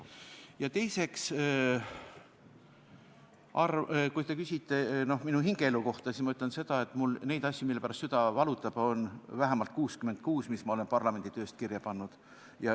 Ja teiseks, kui te küsite minu hingeelu kohta, siis ma ütlen seda, et neid asju, mille pärast mu süda valutab, on vähemalt 66 – neid, mis ma olen parlamenditöö käigus kirja pannud.